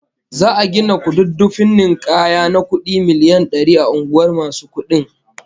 Za'a gina kududdufin ninkaya na kudi miliyan dari a unguwar masu kudin